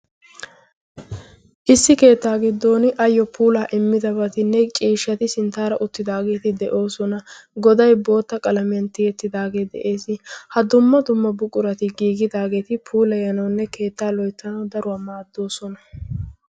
issi keettaa giddon ayyo puulaa immidabati ne ciishshati sinttaara uttidaageeti de'oosona. goday bootta qalamiyan tiyettidaagee de'ees. ha dumma dumma buqurati giigidaageeti puulayanoonne keettaa lo'ittanawu daruwaa maaddoosona.